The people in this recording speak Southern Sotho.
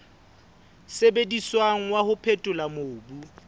sebediswang wa ho phethola mobu